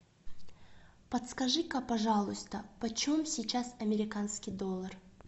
подскажи ка пожалуйста почем сейчас американский доллар